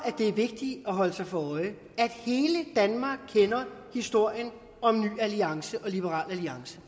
det er vigtigt at holde sig for øje at hele danmark kender historien om ny alliance og liberal alliance